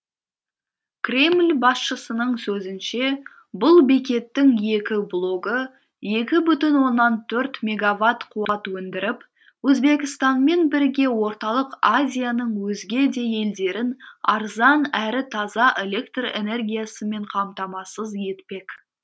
кремль басшысының сөзінше бұл бекеттің екі блогы екі бүтін оннан төрт мегаватт қуат өндіріп өзбекстанмен бірге орталық азияның өзге де елдерін арзан әрі таза электр энергиясымен қамтамасыз етпек